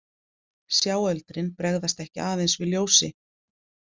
Sjáöldrin bregðast ekki aðeins við ljósi.